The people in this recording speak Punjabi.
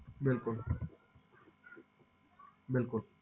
ਬਿਲਕੁਲ ਬਿਲਕੁਲ